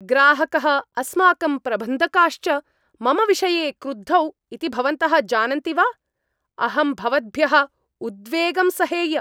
ग्राहकः, अस्माकं प्रबन्धकाश्च मम विषये क्रुद्धौ इति भवन्तः जानन्ति वा? अहं भवद्भ्यः उद्वेगं सहेय।